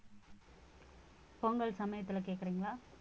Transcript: பொங்கல் சமயத்துல கேக்குறீங்களா